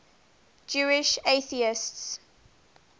jewish atheists